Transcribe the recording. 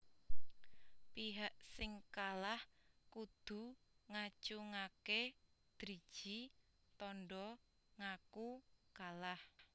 Pihak sing kalah kudu ngacungaké driji tanda ngaku kalah